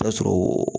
Ta sɔrɔ